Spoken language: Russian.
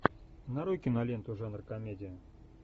нарой киноленту жанр комедия